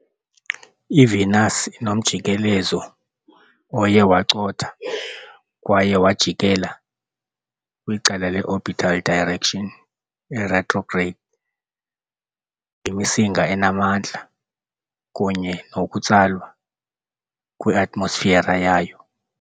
IVenus inomjikelezo oye wacotha kwaye wajikela kwicala le-orbital direction, retrograde, ngemisinga enamandla kunye nokutsalwa kweatmosfera yayo.